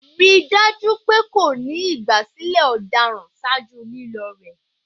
Rii daju pe ko ni igbasilẹ ọdaràn ṣaaju lilo rẹ